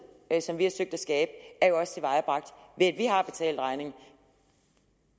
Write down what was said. som vi har søgt at skabe er jo også tilvejebragt ved at vi har betalt regningen